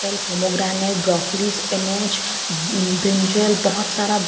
pomegranate broccolis spinach brinjal बोहोत सारा --